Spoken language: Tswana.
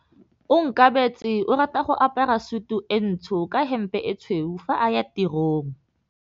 Onkabetse o rata go apara sutu e ntsho ka hempe e tshweu fa a ya tirong.